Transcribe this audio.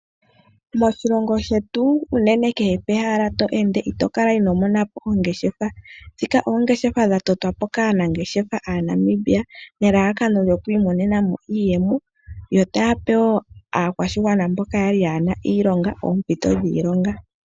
Moshilongo shetu unene kehe pe hala to ende, ito kala inoo mona po ongeshefa. Shika oongeshefa dha totwa po kaa nangeshefa aaNamibia, ne lalakanoyo ku imonenamo iiyemo, yo taya pe wo aakwashigwana mboka kaa yali yena iilonga oompito dhiilonga.